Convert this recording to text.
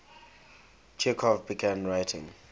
chekhov began writing